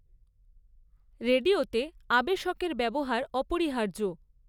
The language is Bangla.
রেডিওতে আবেশকের ব্যবহার অপরিহার্য।